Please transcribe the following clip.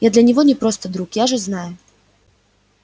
я для него не просто друг я же знаю